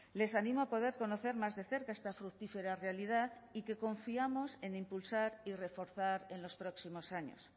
les animo a poder conocer más de cerca esta fructífera realidad y que confiamos en impulsar y reforzar en los próximos años